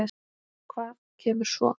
Hvað kemur svo?